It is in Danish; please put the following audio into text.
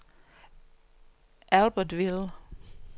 Albertville